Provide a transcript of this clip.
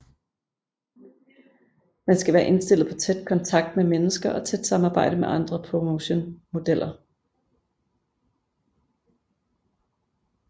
Man skal være indstillet på tæt kontakt med mennesker og tæt samarbejde med andre promotion modeller